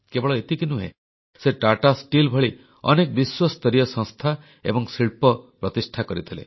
କେବଳ ଏତିକି ନୁହେଁ ସେ ଟାଟା ଷ୍ଟିଲ୍ ଭଳି ଅନେକ ବିଶ୍ୱସ୍ତରୀୟ ସଂସ୍ଥା ଏବଂ ଶିଳ୍ପ ସେ ପ୍ରତିଷ୍ଠା କରିଥିଲେ